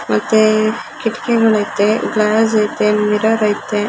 ಮತ್ತೆ ಕಿಟಕಿಗಳ್ ಐತೆ ಗ್ಲಾಸ್ ಐತೆ ಮಿರರ್ ಐತೆ.